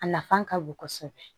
A nafan ka bon kosɛbɛ